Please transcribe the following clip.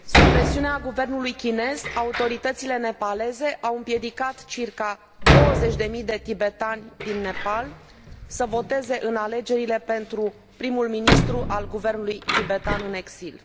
Sub presiunea guvernului chinez, autoritățile nepaleze au împiedicat circa 20 de mii de tibetani din Nepal să voteze în alegerile pentru prim ministrul guvernului tibetan în exil.